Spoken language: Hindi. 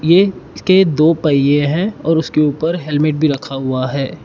ये इसके दो पहिए हैं और उसके ऊपर हेलमेट भी रखा हुआ है।